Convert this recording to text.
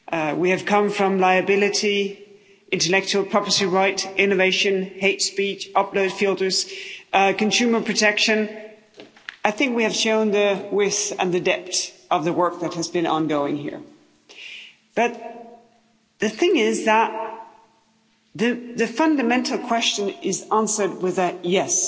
We have come from liability, intellectual property rights, innovation, hate speech, upload filters, consumer protection I think we have shown the width and the depth of the work that has been ongoing here. But, the thing is that the fundamental question is answered with a yes'.